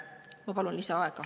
Ma palun lisaaega.